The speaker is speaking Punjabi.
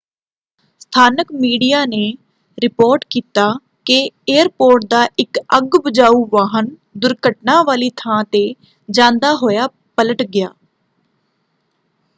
ਸਥਾਨਕ ਮੀਡੀਆ ਨੇ ਰਿਪੋਰਟ ਕੀਤਾ ਕਿ ਏਅਰਪੋਰਟ ਦਾ ਇੱਕ ਅੱਗ ਬੁਝਾਊ ਵਾਹਨ ਦੁਰਘਟਨਾ ਵਾਲੀ ਥਾਂ ‘ਤੇ ਜਾਂਦਾ ਹੋਇਆ ਪਲਟ ਗਿਆ।